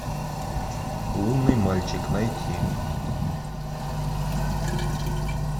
лунный мальчик найти